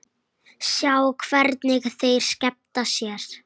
Sjá hvernig þeir skemmta sér.